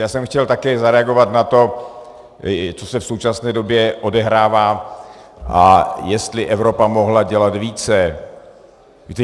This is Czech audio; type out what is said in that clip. Já jsem chtěl také zareagovat na to, co se v současné době odehrává a jestli Evropa mohla dělat více.